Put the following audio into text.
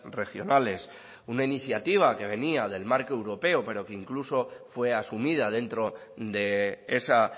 regionales una iniciativa que venía del marco europeo pero que incluso fue asumida dentro de esa